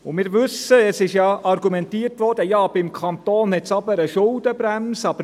Wir wissen, es wurde ja argumentiert, dass beim Kanton eine Schuldenbremse bestehe.